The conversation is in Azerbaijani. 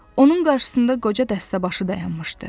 Onun qarşısında qoca dəstəbaşı dayanmışdı.